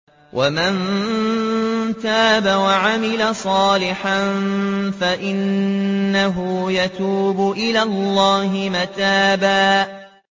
وَمَن تَابَ وَعَمِلَ صَالِحًا فَإِنَّهُ يَتُوبُ إِلَى اللَّهِ مَتَابًا